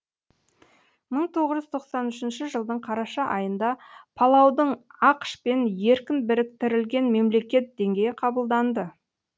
мың тоғыз жүз тоқсан үшінші жылдың қараша айында палаудың ақш пен еркін біріктірілген мемлекет деңгейі қабылданды